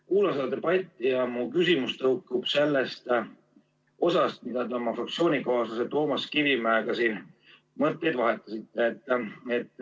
Kuulan seda debatti ja mu küsimus tõukub sellest osast, kus te oma fraktsioonikaaslase Toomas Kivimäega siin mõtteid vahetasite.